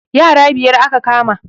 Yara biyar aka kama